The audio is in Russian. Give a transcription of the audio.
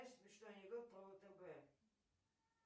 смешной анекдот про втб